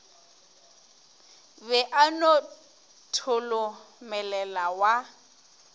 be a no tholomelela wa